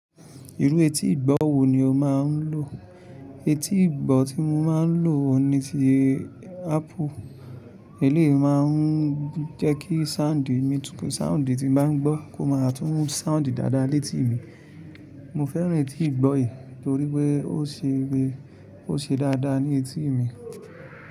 Irú etí ìgbọ́ wo ni o máa ń lò? Etí ìgbọ́ tí mo máa ń lò ni ti Apple. Èlèyi máa ń jẹ́ kí sáùndì tí mo bá ń gbọ́ kó máa tún sáùndì dáadáa létí mi. Mo fẹ́ràn etí ìgbọ́ yìí, torí pé ó ṣe dáadáa ní etí mi.